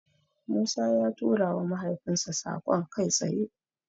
Musa ya turawa mahaifinsa saƙon kai tsaye.